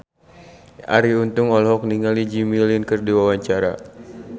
Arie Untung olohok ningali Jimmy Lin keur diwawancara